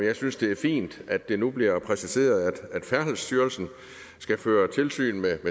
jeg synes det er fint at det nu bliver præciseret at færdselsstyrelsen skal føre tilsyn med